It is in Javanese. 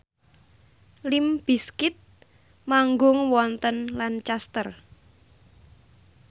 limp bizkit manggung wonten Lancaster